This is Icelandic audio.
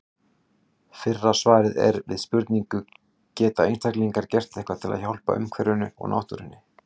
Fyrra svarið er við spurningunni Geta einstaklingar gert eitthvað til að hjálpa umhverfinu og náttúrunni?